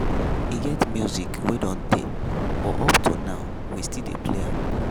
E get music wey don tey but up to now, we still dey play am.